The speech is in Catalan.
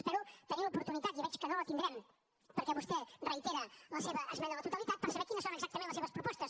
espero tenir l’oportunitat i veig que no la tindrem perquè vostè reitera la seva esmena a la totalitat per saber quines són exactament les seves propostes